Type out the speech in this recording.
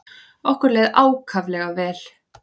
Okkur leið ákaflega vel.